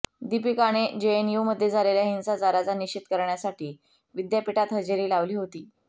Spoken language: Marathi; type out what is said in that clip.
दीपिकाने जेएनयूमध्ये झालेल्या हिंसाचाराचा निषेध करण्यासाठी विद्यापीठात हजेरी लावली होती